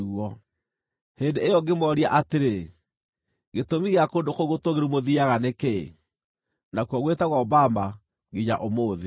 Hĩndĩ ĩyo ngĩmooria atĩrĩ: Gĩtũmi gĩa kũndũ kũu gũtũũgĩru mũthiiaga nĩ kĩĩ?’ ” (Nakuo gwĩtagwo Bama nginya ũmũthĩ.)